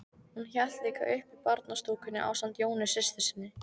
Hún hélt líka uppi barnastúkunni ásamt Jónu systur sinni.